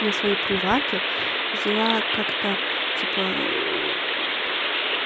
на свои приваты взяла как-то типа